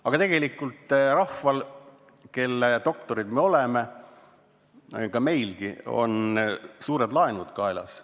Aga tegelikult rahval, kelle doktorid me oleme, ja meil endalgi on suured laenud kaasas.